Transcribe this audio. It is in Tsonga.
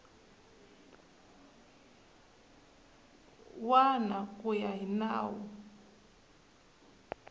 wana ku ya hi nawu